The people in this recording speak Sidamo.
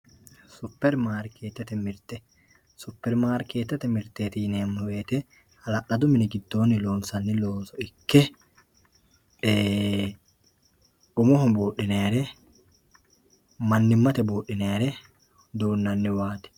Supermarkeetete mirte supermarketete mirteti yinemowoyite halaladu mini gidooni loonsani looso ikek umoho buudhinayire manimate buudhinayire duunaniwati.